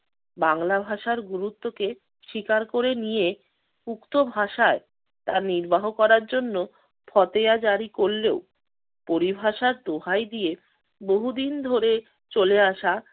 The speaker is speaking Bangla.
বাংলা ভাষার গুরুত্বকে স্বীকার করে নিয়ে উক্ত ভাষায় তা নির্বাহ করার জন্য ফতেয়া জারি করলেও পরিভাষার দোহায় দিয়ে বহুদিন ধরে চলে আসা